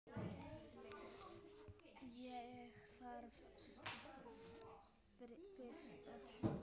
Ég þarf fyrst að koma